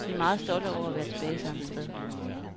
De er meget stolte over at være tilbage samme sted.